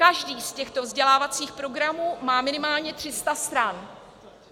Každý z těchto vzdělávacích programů má minimálně 300 stran.